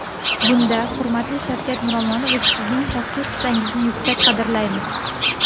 Bunda, hurmatli Shavkat Miromonovich, Sizning shaxsiy hissangizni yuksak qadrlaymiz.